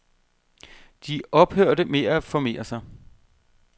De ophørte med at formere sig.